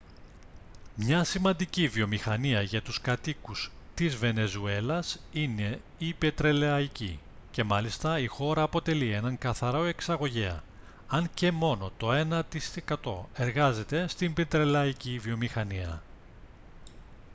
μια σημαντική βιομηχανία για τους κατοίκους της βενεζουέλας είναι η πετρελαϊκή και μάλιστα η χώρα αποτελεί έναν καθαρό εξαγωγέα αν και μόνο το ένα τοις εκατό εργάζεται στην πετρελαϊκή βιομηχανία